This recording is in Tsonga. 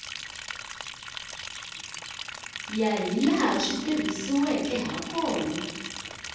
ya hilaha swi tirhisiweke hakona